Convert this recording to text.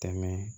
Tɛmɛ